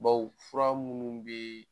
Bawo fura minnu bɛ